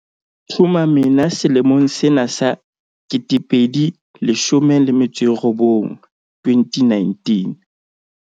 Thuma mina selemong sena sa 2019.